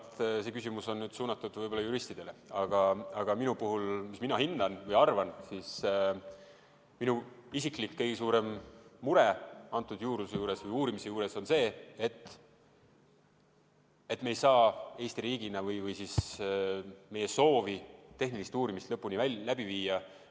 Ma arvan, et see küsimus on suunatud juristidele, aga minu isiklik kõige suurem mure selle juurdluse või uurimise juures on see, et me ei saa Eesti riigina või siis meie soovil tehtavat tehnilist uurimist lõpuni läbi viia.